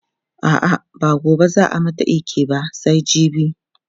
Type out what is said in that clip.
a'a ba gobe zaa mata iki ba sai jibi